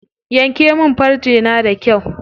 Yanke min farce na da kyau.